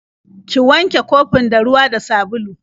Ki wanke kofin da ruwa da sabulu.